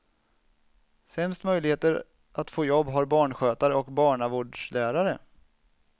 Sämst möjligheter att få jobb har barnskötare och barnavårdslärare.